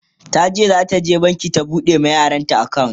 tace zata je banki ta buɗe ma yaranta akawunt